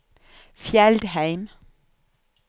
Fjeldheim